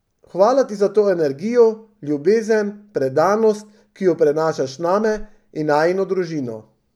Hvala ti za to energijo, ljubezen, predanost, ki jo prenašaš name in najino družino.